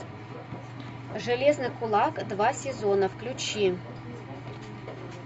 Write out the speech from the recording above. железный кулак два сезона включи